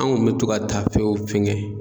An kun mɛ to ka tafew fɛngɛ